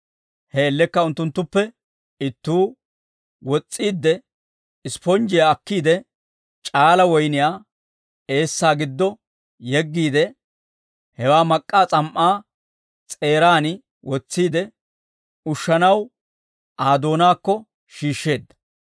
He man''iyaan unttunttuppe ittuu wos's'iidde, ispponjjiyaa akkiide, c'aala woyniyaa eessaa giddo yeggiide, hewaa mak'k'aa s'am"aa s'eeraan wotsiide, ushshanaw Aa doonaakko shiishsheedda.